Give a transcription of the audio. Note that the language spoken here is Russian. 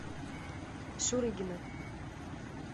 шурыгина